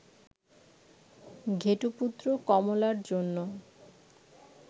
ঘেটুপুত্র কমলা'র জন্য